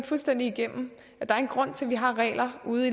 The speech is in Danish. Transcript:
fuldstændig igennem at der er en grund til at vi har regler ude